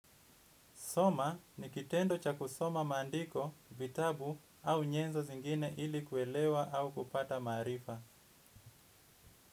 Soma ni kitendo cha kusoma maandiko, vitabu au nyenzo zingine ili kuelewa au kupata maarifa.